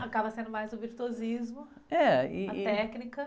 Acaba sendo mais o virtuosismo..., ih, ih... técnica.